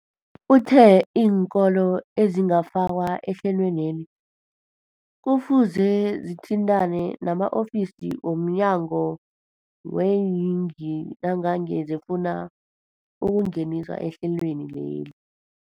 Uthe iinkolo ezingakafakwa ehlelweneli kufuze zithintane nama-ofisi wo mnyango weeyingi nangange zifuna ukungeniswa ehlelweni.